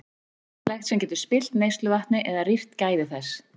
Það er ýmislegt sem getur spillt neysluvatni eða rýrt gæði þess.